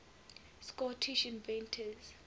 scottish inventors